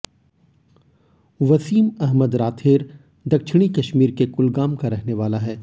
वसीम अहमद रादर दक्षिणी कश्मीर के कुलगाम का रहने वाला है